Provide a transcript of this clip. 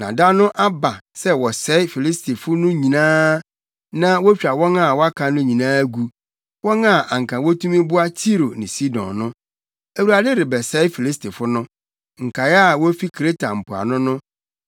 Na da no aba sɛ wɔsɛe Filistifo no nyinaa na wotwa wɔn a wɔaka no nyinaa gu, wɔn a anka wotumi boa Tiro ne Sidon no. Awurade rebɛsɛe Filistifo no, nkae a wofi Kreta mpoano no.